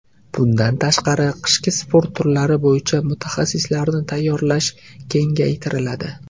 Bundan tashqari, qishki sport turlari bo‘yicha mutaxassislarni tayyorlash kengaytiriladi.